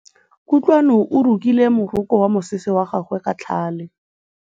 Kutlwanô o rokile morokô wa mosese wa gagwe ka tlhale.